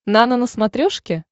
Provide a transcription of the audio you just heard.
нано на смотрешке